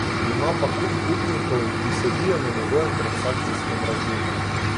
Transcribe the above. Ima pa kup upnikov, ki sedijo na njegovem transakcijskem računu.